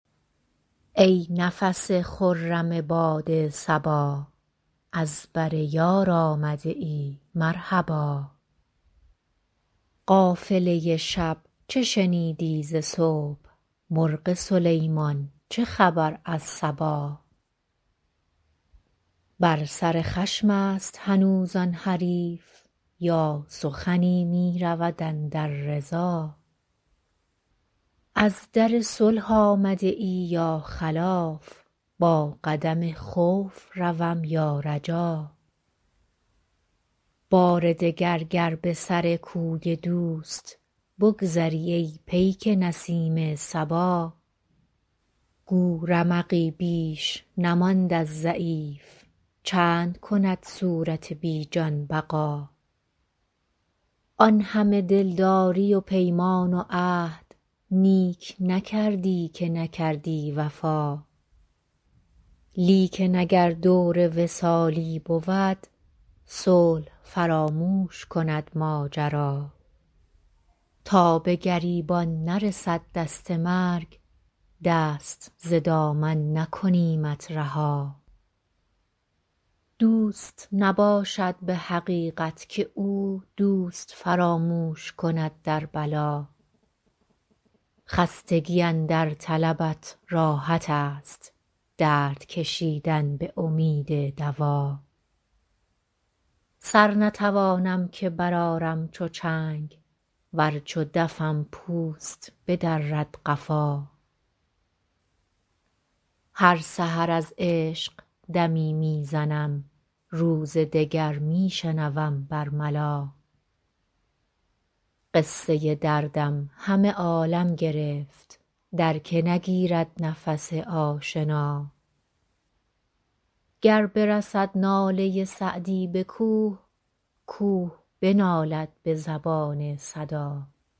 ای نفس خرم باد صبا از بر یار آمده ای مرحبا قافله شب چه شنیدی ز صبح مرغ سلیمان چه خبر از سبا بر سر خشم است هنوز آن حریف یا سخنی می رود اندر رضا از در صلح آمده ای یا خلاف با قدم خوف روم یا رجا بار دگر گر به سر کوی دوست بگذری ای پیک نسیم صبا گو رمقی بیش نماند از ضعیف چند کند صورت بی جان بقا آن همه دلداری و پیمان و عهد نیک نکردی که نکردی وفا لیکن اگر دور وصالی بود صلح فراموش کند ماجرا تا به گریبان نرسد دست مرگ دست ز دامن نکنیمت رها دوست نباشد به حقیقت که او دوست فراموش کند در بلا خستگی اندر طلبت راحت است درد کشیدن به امید دوا سر نتوانم که برآرم چو چنگ ور چو دفم پوست بدرد قفا هر سحر از عشق دمی می زنم روز دگر می شنوم بر ملا قصه دردم همه عالم گرفت در که نگیرد نفس آشنا گر برسد ناله سعدی به کوه کوه بنالد به زبان صدا